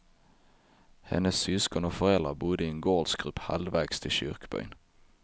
Hennes syskon och föräldrar bodde i en gårdsgrupp halvvägs till kyrkbyn.